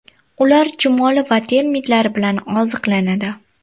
Ular chumoli va termitlar bilan oziqlanadi.